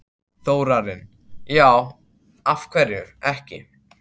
Þórarinn: Já, af hverju ekki?